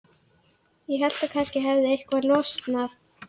Ég hélt að kannski hefði eitthvað losnað.